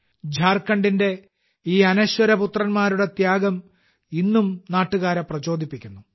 ഝാർഖണ്ഡിന്റെ ഈ അനശ്വരപുത്രന്മാരുടെ ത്യാഗം ഇന്നും നാട്ടുകാരെ പ്രചോദിപ്പിക്കുന്നു